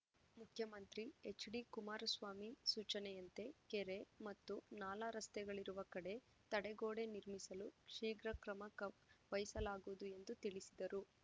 ಮುಖ್ಯಮಂತ್ರಿ ಎಚ್‌ಡಿಕುಮಾರಸ್ವಾಮಿ ಸೂಚನೆಯಂತೆ ಕೆರೆ ಮತ್ತು ನಾಲಾ ರಸ್ತೆಗಳಿರುವ ಕಡೆ ತಡೆಗೋಡೆ ನಿರ್ಮಿಸಲು ಶೀಘ್ರ ಕ್ರಮ ಕಮ್ ವಹಿಸಲಾಗುವುದು ಎಂದು ತಿಳಿಸಿದರು